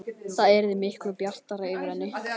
Það yrði miklu bjartara yfir henni.